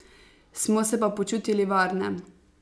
Smo se pa počutili varne.